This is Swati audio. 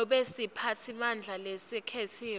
nobe siphatsimandla lesikhetsiwe